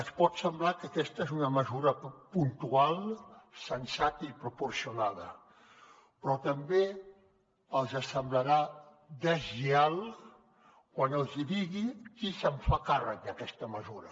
els pot semblar que aquesta és una mesura puntual sensata i proporcionada però també els semblarà deslleial quan els hi digui qui se’n fa càrrec d’aquesta mesura